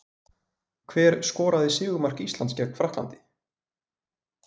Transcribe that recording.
Hver skoraði sigurmark Íslands gegn Frakklandi?